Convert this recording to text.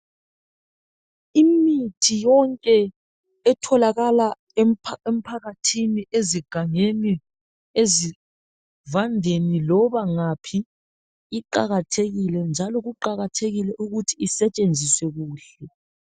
Imithi yonke etholakala emphakathini, ezigangeni, ezivandeni loba ngaphi iqakathekile, njalo kuqakathekile ukuthi isetshenziswe kuhle.